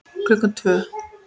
Klukkan tvö